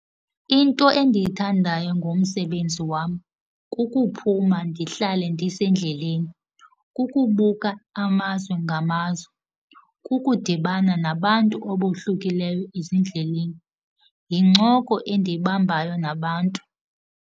Into endiyithandayo ngomsebenzi wam kukuphuma ndihlale ndisendleleni, kukubuka amazwe ngamazwe, kukudibana nabantu abohlukileyo ezindleleni. Yincoko endiyibambayo nabantu.